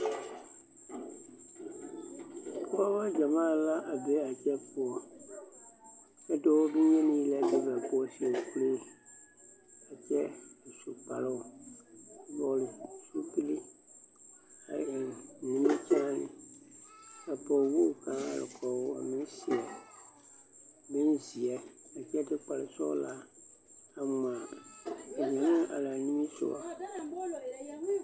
Pɔgeba gyamaa la a be a kyɛ poɔ dɔɔ bonyeni la be ba poɔ a seɛ kuree a su kparoo a vɔgle zupili a eŋ nimikyaane ka pɔgewogi paa meŋ are kɔge o a meŋ seɛ bonzeɛ a kyɛ de kparesɔglaa a ŋmaa ka mine meŋ are o nimisɔgɔ.